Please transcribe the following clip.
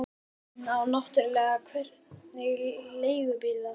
En náttúrlega hvergi leigubíl að fá.